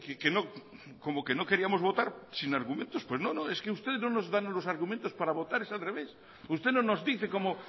que como que no queríamos votar sin argumentos no no es que ustedes no nos dan unos argumentos para votar es al revés usted no nos dice cómo